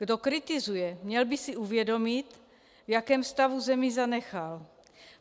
Kdo kritizuje, měl by si uvědomit, v jakém stavu zemi zanechal.